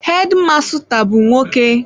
Hedi masụta bụ nwoke.